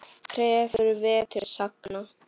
Krefur vetur sagna.